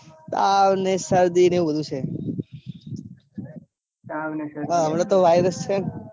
તાવ ને શરદી ન એવું બધું છે. તાવ ને શરદી વાયરસ છે ને